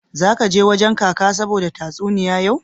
Zaka je wajen Kaka saboda tatsuniyoyi yau.